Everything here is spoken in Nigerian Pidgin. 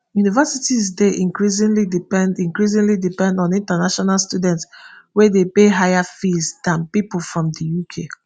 universities dey increasingly depend increasingly depend on international students wey dey pay higher fees dan pipo from di uk